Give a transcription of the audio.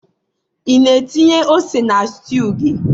ị na-etinye ose na stew gị?